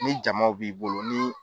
Ni jamaw b'i bolo ni